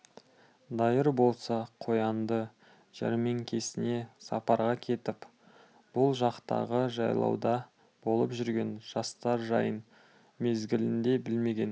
дайыр болса қоянды жәрмеңкесіне сапарға кетіп бұл жақтағы жайлауда болып жүрген жастар жайын мезгілінде білмеген